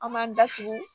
An m'an da tugu